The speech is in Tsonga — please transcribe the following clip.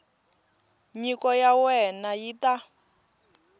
nyiko ya wena yi ta